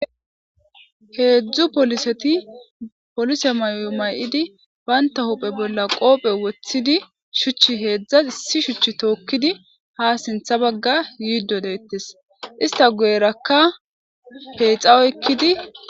Hezdu poliset polise mayo mayid banta huphe bolla qope wothid shuch hezhas issi shuch tokid ha sintha Baga yido detes , ista guyeraka peyxa oykid ..